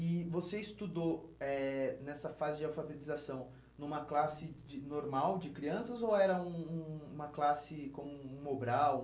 E você estudou eh nessa fase de alfabetização numa classe de normal de crianças ou era um um uma classe com um um obral?